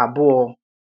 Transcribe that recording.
ábụ̀ọ̀.”